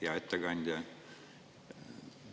Hea ettekandja!